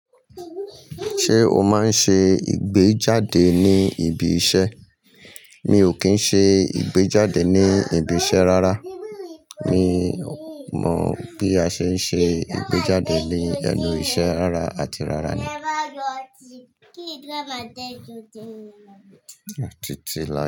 Ṣé o máa ń ṣe ìgbéjáde ní ibi iṣẹ́? Mi ò kí ń ṣe ìgbéjáde ní ibi iṣẹ́ rárá. Mi mọ̀ bí a ṣe ń ṣe ìgbéjáde nínú iṣẹ́ rárá àti rárá ni.